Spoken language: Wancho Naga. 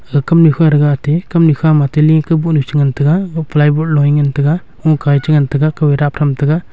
aga kamnu kha thaga aate kamnu khama atte leh kau bohnu chi ngantaga ag ply board loh ee ngantaga lungka ee chi ngantaga kau ee dap tham taga.